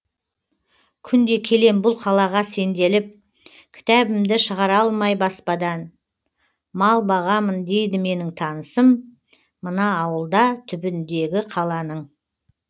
күнде келем бұл қалаға сенделіп кітабымды шығара алмай баспадан мал бағамын дейді менің танысым мына ауылда түбіндегі қаланың